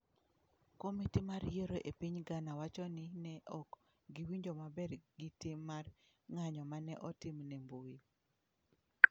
Komiti mar yiero e piny Ghana wacho ni ne ok giwinjo maber gi tim mar ng'anyo ma ne otim ne mbui.